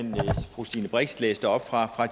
fru stine brix læste op fra